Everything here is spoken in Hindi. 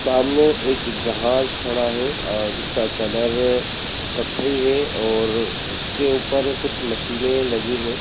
सामने एक जहाज खड़ा है अ-जिसका कलर कथई है और उसके ऊपर कुछ मशीने लगी हैं।